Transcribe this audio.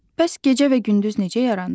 Bəs gecə və gündüz necə yaranır?